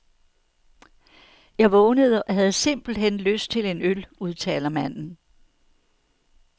Jeg vågnede og havde simpelt hen lyst til en øl, udtaler manden.